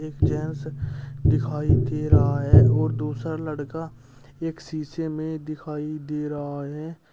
एक जेंट्स दिखाई दे रहा है और दूसरा लड़का एक शीशे में दिखाई दे रहा है।